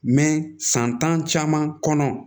san tan caman kɔnɔ